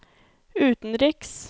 utenriks